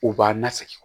U b'a la segin